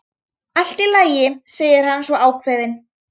Allt í lagi, segir hann svo ákveðinn.